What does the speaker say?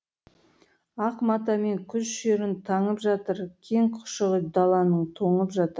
ақ матамен күз шерін таңып жатыр кең құшағы даланың тоңып жатыр